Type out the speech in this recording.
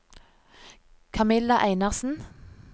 Kamilla Einarsen